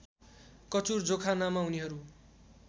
कचुर जोखानामा उनीहरू